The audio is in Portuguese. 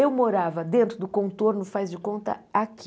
Eu morava dentro do Contorno, faz de conta, aqui.